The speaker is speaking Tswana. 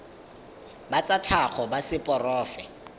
ba tsa tlhago ba seporofe